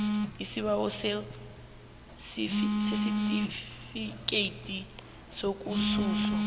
isibawo sesitifikhethi sokususwa